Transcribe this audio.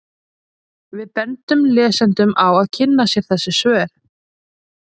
Við bendum lesendum á að kynna sér þessi svör.